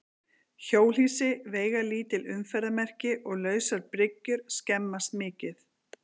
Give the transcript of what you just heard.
Hjólhýsi, veigalítil umferðarmerki og lausar bryggjur skemmast mikið.